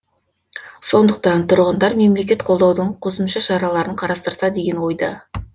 сондықтан тұрғындар мемлекет қолдаудың қосымша шараларын қарастырса деген ойда